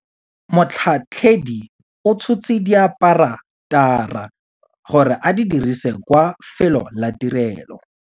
Motlhatlheledi o tshotse diaparatara gore a di dirise kwa felô la tirêlô.